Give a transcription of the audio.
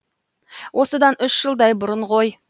осыдан үш жылдай бұрын ғой